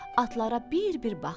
Atlara bir-bir baxdı.